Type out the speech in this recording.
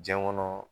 Diɲɛ kɔnɔ